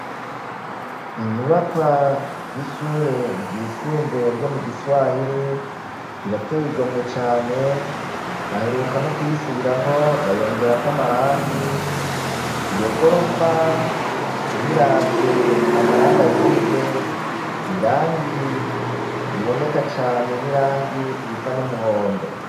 Inyubakwa y'ishure ryisumbuye ryo mu Giswahiri irateye igomwe cane baheruka no kuyisubiramwo bayongerako amarangi iyo gorofa uyiravye amarangi ayigize irangi riboneka cane n'irangi risa n'umuhondo.